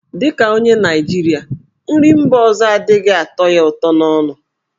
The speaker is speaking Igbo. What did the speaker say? Dị ka onye Naịjirịa, nri mba ọzọ adịghị atọ ya ụtọ n'ọnụ.